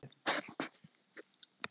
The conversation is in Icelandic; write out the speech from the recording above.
Var norska olían skotmarkið